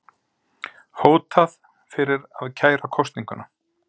Hótað fyrir að kæra kosninguna